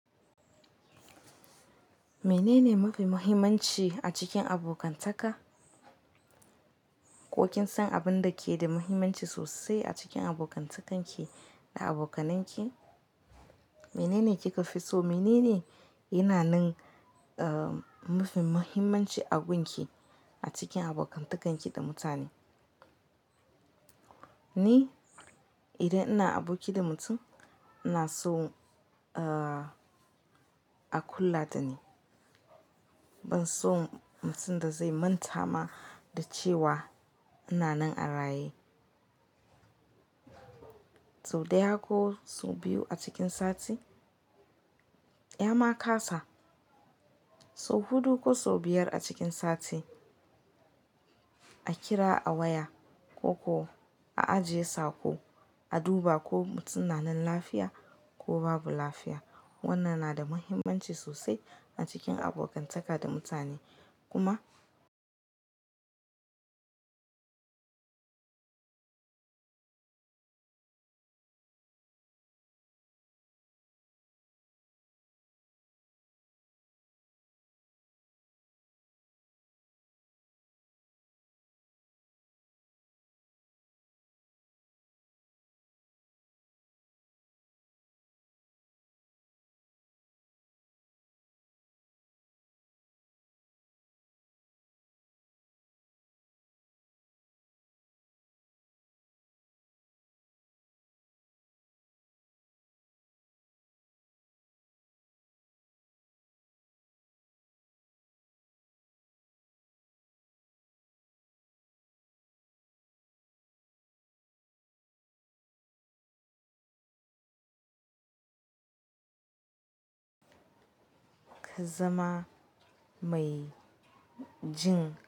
Menene mafi muhimmanci a cikin abokantaka? Ko kin san abin da ke da muhimmanci sosai a cikin abokantakanki da abokananki? Menene kika fi so? Menene yana nan, eh, mafi muhimmanci a gunki a cikin abokantakanki da mutane? Ni, idan ina aboki da mutum, ina so, eh, a kulla dani. Ban son, mutum da zai manta ma da cewa, inan nan a raye. Sau daya, ko sau biyu a cikin sati? Ya ma kasa. Sau huɗu ko sau biyar a cikin sati a kira a waya, koko a ajiye sako, a duba ko mutum na nan lafiya, ko babu lafiya. Wannan na da muhimmanci sosai, a cikin abokantaka da mutane. Kuma ka zama, mai jin,